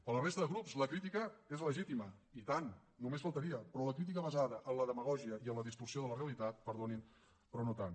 per a la resta de grups la crítica és legítima i tant només faltaria però la crítica basada en la demagògia i en la distorsió de la realitat perdonin però no tant